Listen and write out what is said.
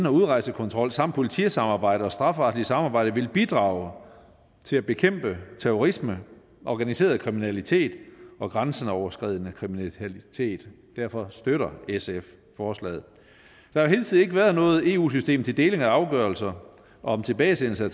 og udrejsekontrol samt politisamarbejde og strafferetligt samarbejde vil bidrage til at bekæmpe terrorisme organiseret kriminalitet og grænseoverskridende kriminalitet derfor støtter sf forslaget der har hidtil ikke være noget eu system til deling af afgørelser om tilbagesendelse af